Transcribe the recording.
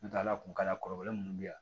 N tɛ ala kuntala kɔrɔbalen minnu bɛ yan